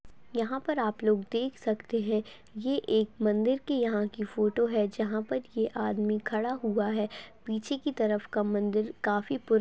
यहां पर आप लोग देख सकते हैं ये एक मंदिर के यहाँ का एक फोटो हैं जहां पर ये आदमी खड़ा हैं पीछे की तरफ की मंदिर काफी पु--